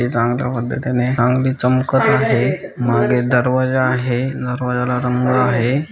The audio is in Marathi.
चमकत आहे माघे दरवाजा आहे दरवाज्याला रंग आहे.